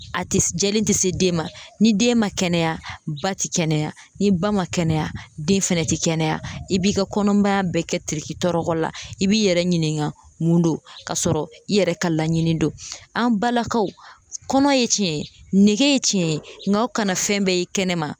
A tɛ jɛlen tɛ se den ma, ni den ma kɛnɛya ba ti kɛnɛya, ni ba ma kɛnɛya ,den fɛnɛ tɛ kɛnɛya, i b'i ka kɔnɔmaya bɛɛ kɛ terikitɔrɔ la, i b'i yɛrɛ ɲininka mun don, k'a sɔrɔ i yɛrɛ ka laɲini don, an balakaw , kɔnɔ ye tiɲɛ ,nege ye tiɲɛ ye, nka kana fɛn bɛɛ ye kɛnɛma